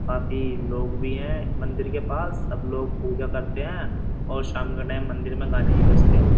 काफी लोग भी हैं मंदिर के पास सब लोग पूजा करते हैं और शाम के टाइम मंदिर में गाने भी बजते हैं।